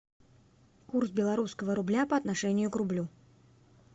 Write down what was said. курс белорусского рубля по отношению к рублю